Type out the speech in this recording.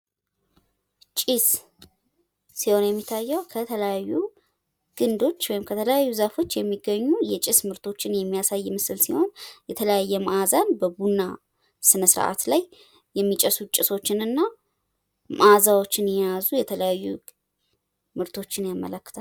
ጭስ ሲሆን የሚታየው ከተለያዩ ግንዶች ወይም ከተለያዩ ዛፎች የሚገኙ የጭስ ምርቶችን የሚያሳይ ምስል ነው። የተለያየ መአዛን የቡና ስነስርዓት ላይ የሚጨሱ ጭሶችንና መአዛዎችን የያዙ የተለያዩ ምርቶችን ያመላክታል።